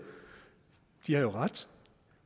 de har jo ret